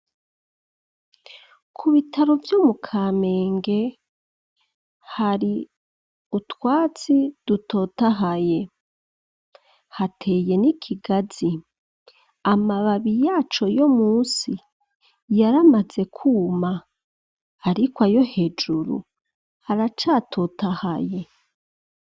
Ku bitaro vyo mu Kamenge, hari utwatsi dutotahaye, hateye n'ikigazi, amababi yaco yo munsi yaramaze kuma, ariko ayo hejuru aracatotahaye.